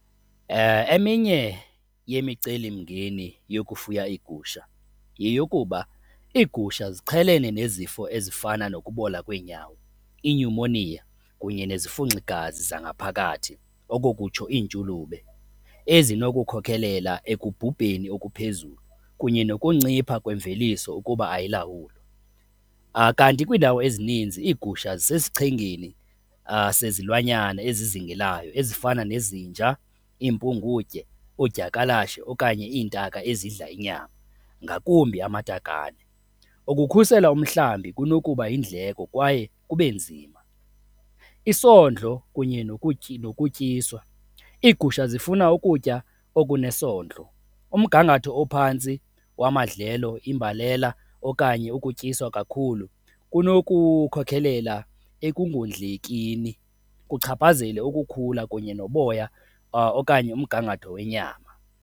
Eminye yemicelimngeni yokufuya iigusha yeyokuba, iigusha ziqhelene nezifo ezifana nokubola kweenyawo, iinyumoniya kunye nezifunxigazi zangaphakathi, oko kutsho iintshulube ezinokukhokelela ekubhubheni okuphezulu kunye nokuncipha kwemveliso ukuba ayilawulwa. Kanti kwiindawo ezininzi iigusha zisechengeni sezilwanyana ezizingelayo ezifana nezinja, iimpungutye, oodyakalashe okanye iintaka ezidla inyama, ngakumbi amatakane. Ukukhusela umhlambi kunokuba yindleko kwaye kube nzima. Isondlo kunye nokutyiswa, iigusha zifuna ukutya okunesondlo, umgangatho ophantsi wamadlelo, imbalela okanye ukutyiswa kakhulu kunokukhokhelela ekungodlekini, kuchaphazele ukukhula kunye noboya okanye umgangatho wenyama.